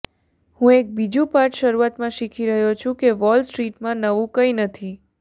હું એક બીજું પાઠ શરૂઆતમાં શીખી રહ્યો છું કે વોલ સ્ટ્રીટમાં નવું કંઈ નથી